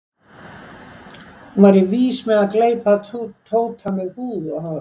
Hún væri vís með að gleypa Tóta með húð og hári.